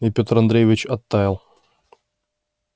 и пётр андреевич оттаял